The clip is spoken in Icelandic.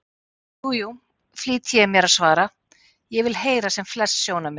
Jú, jú, flýti ég mér að svara, ég vil heyra sem flest sjónarmið.